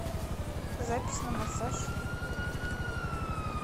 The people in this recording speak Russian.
запись на массаж